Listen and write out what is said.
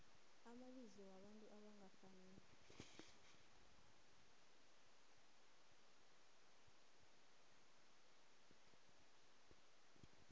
amabizo wabantu angafaniko